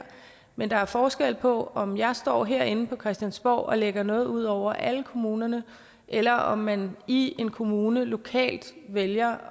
men der er forskel på om jeg står herinde på christiansborg og lægger noget ud over alle kommunerne eller om man i en kommune lokalt vælger